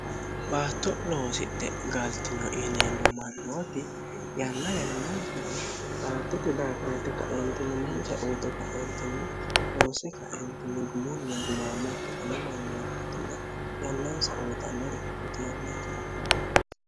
baatto loosidhe galtino iineemmo mannooti yanna ynnninni baattuti daakireti kaindinimuonsa uute kautinni noosi kaeninnigumulni gumaammakki ile mannoottinna yannanysa uyi0annori kooteyameensi afiraao